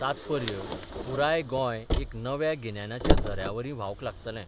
तात्पर्य, पुराय गोंय एका नव्या गिन्यानाच्या झऱ्यावरीं व्हावंक लागतलें.